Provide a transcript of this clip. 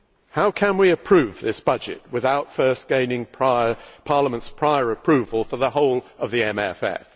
How can we approve this budget without first gaining Parliament's prior approval for the whole of the MFF?